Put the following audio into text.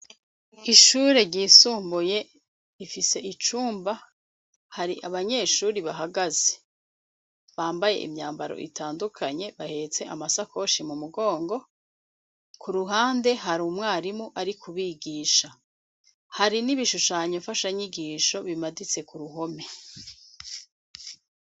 Ishure ryisumbuye ifise icumba hari abanyeshuri bahagaze bambaye imyambaro itandukanye bahetse amasakoshi mu mugongo, ku ruhande hari umwarimu ari kubigisha hari n'ibishushanyo fasha nyigisho, bimaditse ku ruhome.